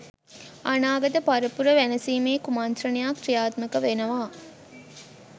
අනාගත පරපුර වැනසීමේ කුමන්ත්‍රණයක් ක්‍රියාත්මක වෙනවා